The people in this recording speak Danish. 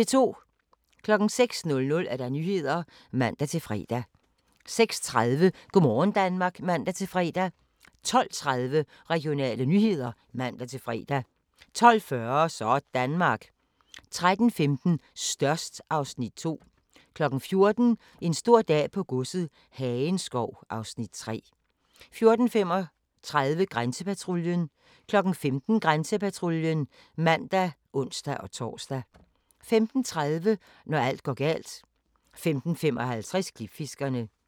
06:00: Nyhederne (man-fre) 06:30: Go' morgen Danmark (man-fre) 12:30: Regionale nyheder (man-fre) 12:40: Sådanmark 13:15: Størst (Afs. 2) 14:00: En stor dag på godset - Hagenskov (Afs. 3) 14:35: Grænsepatruljen 15:00: Grænsepatruljen (man og ons-tor) 15:30: Når alt går galt 15:55: Klipfiskerne